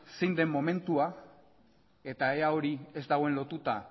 zein den momentua eta ea hori ez dagoen lotuta